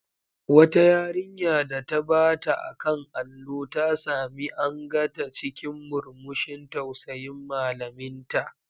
Wata yarinya da ta bata a kan allo, ta sami anga ta cikin murmushin tausayin malaminta.